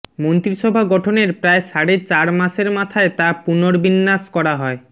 মন্ত্রিসভা গঠনের প্রায় সাড়ে চার মাসের মাথায় তা পুনর্বিন্যাস করা হয়